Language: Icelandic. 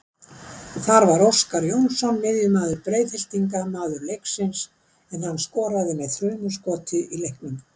Þar var Óskar Jónsson miðjumaður Breiðhyltinga maður leiksins en hann skoraði með þrumuskoti í leiknum.